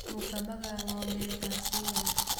Mũkamaga ng'ombe thaa cigana?